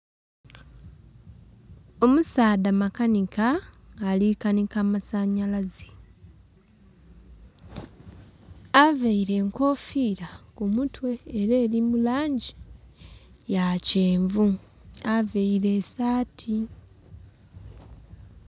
Omusaadha makanhika nga alikanhika amasanhalaze avaire ekofira ku mutwe era eri mu langi ya kyenvu, avaire esati.